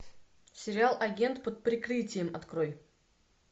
сериал агент под прикрытием открой